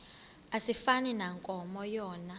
asifani nankomo yona